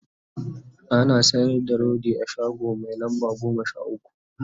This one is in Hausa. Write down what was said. ana sayar da rodi a shago Mai lamba goma Sha ukwu